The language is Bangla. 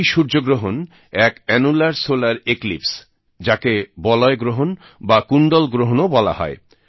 এই সূর্যগ্রহণ এক অ্যানুলার সোলার একলিপ্স যাকে বলয়গ্রহণ বা কুণ্ডল গ্রহণও বলা হয়